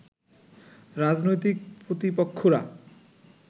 রাজনৈতিক প্রতিপক্ষরা